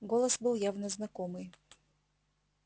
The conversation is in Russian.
голос был явно знакомый